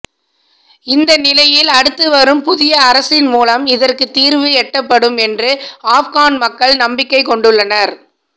இந்த நிலையில் அடுத்து வரும் புதிய அரசின் மூலம் இதற்குத் தீர்வு எட்டப்படும் என்று ஆப்கன் மக்கள் நம்பிக்கை கொண்டுள்ளனர்